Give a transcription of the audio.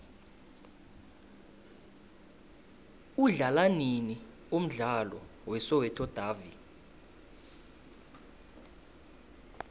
udlalwanini umdlalo we soweto davi